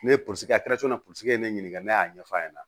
Ne ye kɛra ne ɲininka ne y'a ɲɛfɔ a ɲɛna